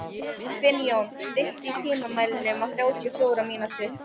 Finnjón, stilltu tímamælinn á þrjátíu og fjórar mínútur.